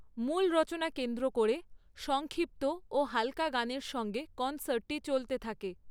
মূল রচনা কেন্দ্র করে, সংক্ষিপ্ত ও হালকা গানের সঙ্গে কনসার্টটি চলতে থাকে।